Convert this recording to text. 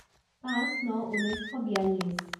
পাঁচ ন ঊনৈছ শ বিয়াল্লিছ